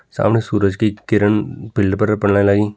सामने सूरज की किरण बिल्डिंग पर पणे लागि।